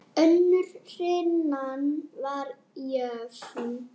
Önnur hrinan var jöfn.